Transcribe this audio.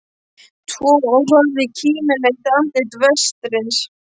Tvo og horfði á kímileitt andlit vertsins.